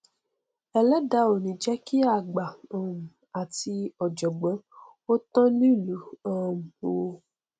ẹlẹdàá ò ní jẹ kí àgbà um àti ọjọgbọn ó tán nílùú um o